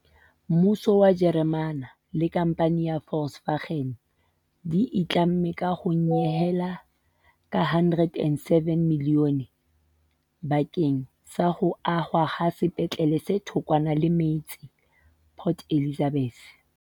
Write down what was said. Mmuso wa Jeremane le khamphane ya Volkswagen di itlamme ka ho nyehela ka R107 milione bakeng sa ho ahwa ha sepetlele se thokwana le metse Port Elizabeth.